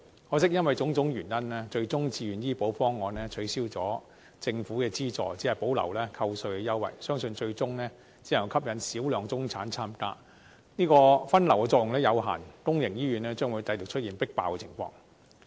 可惜，因為種種原因，自願醫保方案最終取消了，政府的資助只保留了扣稅優惠，相信最終只能吸引少量中產參加，分流的作用有限，公營醫院將繼續出現"迫爆"情況。